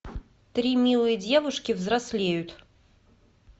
три милые девушки взрослеют